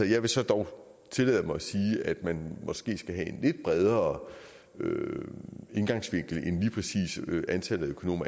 jeg vil så dog tillade mig at sige at man måske skal have en lidt bredere indgangsvinkel end lige præcis antallet af økonomer